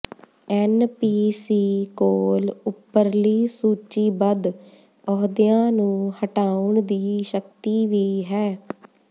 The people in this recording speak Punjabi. ਐੱਨਪੀਸੀ ਕੋਲ ਉੱਪਰਲੀ ਸੂਚੀਬੱਧ ਅਹੁਦਿਆਂ ਨੂੰ ਹਟਾਉਣ ਦੀ ਸ਼ਕਤੀ ਵੀ ਹੈ